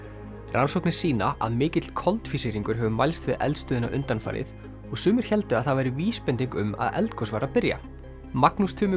rannsóknir sýna að mikill koltvísýringur hefur mælst við eldstöðina undanfarið og sumir héldu að það væri vísbending um að eldgos væri að byrja Magnús Tumi